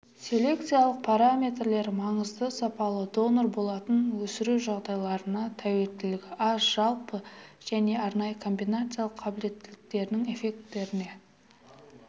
селекциялық параметрлері маңызды сапалы донор болатын өсіру жағдайларына тәуелділігі аз жалпы және арнайы комбинациялық қабілеттіліктерінің эффектілеріне